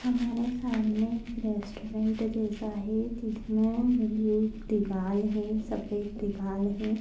हमारे सामने एक रेस्टुरेंट जैसा है जिसमे दिवाल है सफ़ेद दिवाल है।